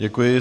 Děkuji.